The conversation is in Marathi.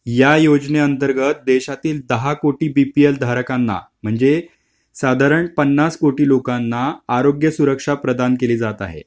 या योजने अंतर्गत देशातील दहा कोटी बीपील धारकाला म्हणजे साधारण पन्नास कोटी लोकांना आरोग्य सुरक्षा प्रधान केली जात आहे.